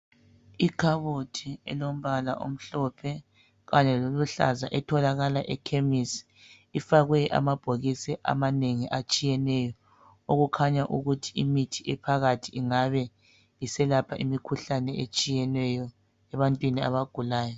Ikhabothi elombala omhlophe kanye loluhlaza etholakala ekhemisi ifakwe amabhokisi amanengi atshiyeneyo okukhanya ukuthi imithi ephakathi ingabe iselapha imikhuhlane etshiyeneyo ebantwini abagulayo.